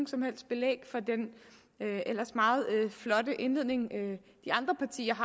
som helst belæg for den ellers meget flotte indledning de andre partier